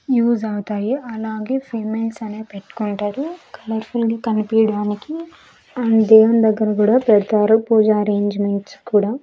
Use అవుతాయి అలాగే females అనేది పెట్టుకుంటారు కలర్ ఫుల్ గా కనిపియడానికి అండ్ దేవుని దగ్గర కూడా పెడతారు పూజ అరేంజ్మెంట్స్ కూడా.